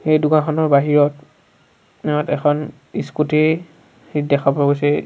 এই দোকানখনৰ বাহিৰত অত ইয়াত এখন স্কুটি দেখা পোৱা গৈছে।